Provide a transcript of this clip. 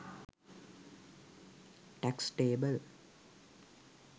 tax table